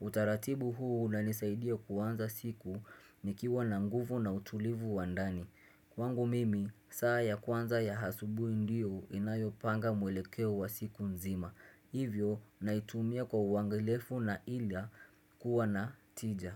Utaratibu huu unanisaidia kuanza siku nikiwa na nguvu na utulivu wa ndani Kwangu mimi, saa ya kwanza ya asubuhi ndio inayopanga mwelekeo wa siku nzima Hivyo, naitumia kwa uangalifu na hila kuwa na tija.